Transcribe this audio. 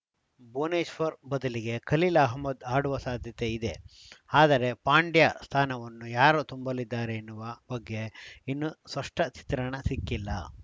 ಭುವನೇಶ್ವರ್‌ ಬದಲಿಗೆ ಖಲೀಲ್‌ ಅಹ್ಮದ್‌ ಆಡುವ ಸಾಧ್ಯತೆ ಇದೆ ಆದರೆ ಪಾಂಡ್ಯ ಸ್ಥಾನವನ್ನು ಯಾರು ತುಂಬಲಿದ್ದಾರೆ ಎನ್ನುವ ಬಗ್ಗೆ ಇನ್ನೂ ಸ್ಪಷ್ಟಚಿತ್ರಣ ಸಿಕ್ಕಿಲ್ಲ